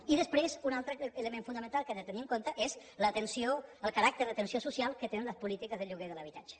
i després un altre element fonamental que hem de tenir en compte és el caràcter d’atenció social que tenen les polítiques de lloguer de l’habitatge